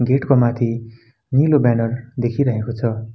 Get को माथि नीलो ब्यानर देखिरहेको छ।